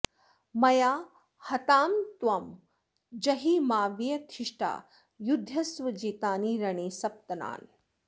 मया हतांस्त्वं जहि माव्यथिष्ठा युद्ध्यस्व जेतानि रणे सपत्नान्